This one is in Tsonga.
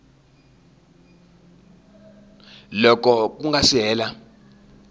loko ku nga si hela